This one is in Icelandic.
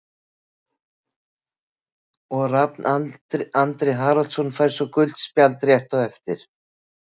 Og Rafn Andri Haraldsson fær svo gult spjald rétt á eftir.